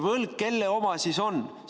Kelle oma see võlg siis on?